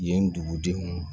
Yen dugudenw